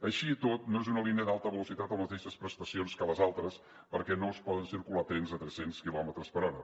així i tot no és una línia d’alta velocitat amb les mateixes prestacions que les altres perquè no hi poden circular trens a tres cents quilòmetres per hora